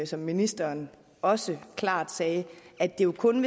som ministeren også klart sagde at det jo kun